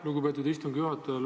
Lugupeetud istungi juhataja!